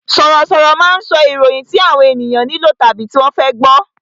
Sọ̀rọ̀ sọ̀rọ̀ máa ń sọ ìròyìn tí àwọn ènìyàn nílò tàbí tí wọ́n fẹ́ gbọ